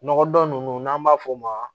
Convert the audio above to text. Nɔgɔ dɔn ninnu n'an b'a f'o ma